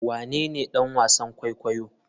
Wanene ɗan wasan kwaikwayo?